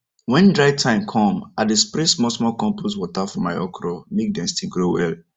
when dry time come i dey spray smallsmall compost water for my okra make dem still grow well